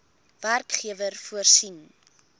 werkgewer voorsien